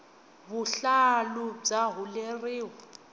vuhlalu bya huleriwa